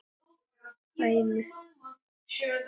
Tæmist horn þá teygað er.